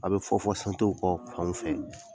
A bɛ fɔ fɔ kɔ fanw fɛ